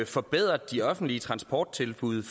forbedret de offentlige transporttilbud